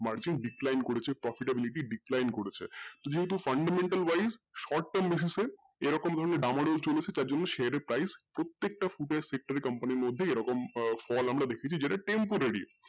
margin decline করেছে profit of limit decline করেছে তো যেহেতু fundamental wise short term basis এ এরকম ধরনের চলেছে তারজন্যে share এর price প্রত্যেকটা এর মধ্যেই এরকম ফল আমরা দেখেছি যেটা temporary